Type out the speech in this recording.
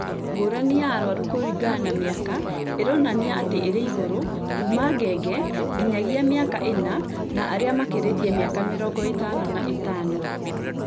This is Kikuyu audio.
ngũrani ya arwaru kũringana na mĩaka ĩronania atĩ ĩrĩ igũrũ kuuma ngenge nginyagia mĩaka ĩna na arĩa makĩrĩtie mĩaka mĩrongo ĩtano na ĩtano